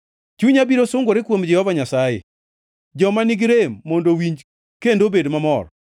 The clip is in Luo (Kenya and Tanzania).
Chunya biro sungore kuom Jehova Nyasaye, joma nigi rem mondo owinji kendo obed mamor.